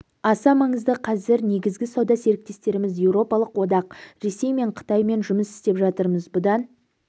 аса маңызды қазір негізгі сауда серіктестеріміз еуропалық одақ ресей және қытаймен жұмыс істеп жатырмыз бұдан